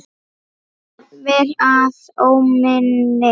Jafnvel að óminni.